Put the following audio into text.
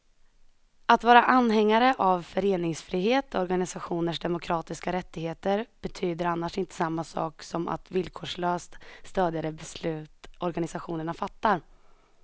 Att vara anhängare av föreningsfrihet och organisationers demokratiska rättigheter betyder annars inte samma sak som att villkorslöst stödja de beslut organisationerna fattar.